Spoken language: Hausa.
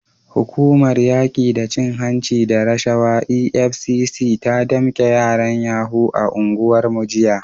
Hukumar yaki da cin hanci da rashawa EFCC ta damke yaran yahoo a unguwarmu jiya.